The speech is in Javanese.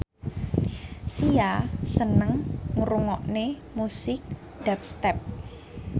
Sia seneng ngrungokne musik dubstep